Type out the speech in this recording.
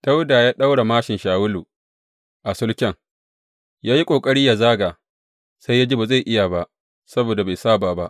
Dawuda ya ɗaura māshin Shawulu a sulken, ya yi ƙoƙari yă zaga, sai ya ji ba zai iya ba saboda bai saba ba.